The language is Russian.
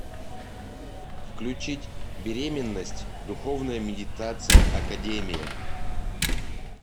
включить беременность духовная медитация академия